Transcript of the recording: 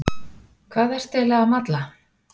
Hvað ertu eiginlega að malla?